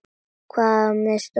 Hvaðan á mig stóð veðrið.